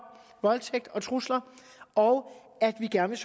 voldtægt og trusler og at vi gerne